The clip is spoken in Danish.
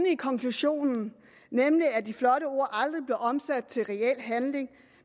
i konklusionen nemlig at de flotte ord aldrig blev omsat til reel handling